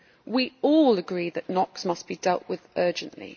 We all agree that NOx must be dealt with urgently.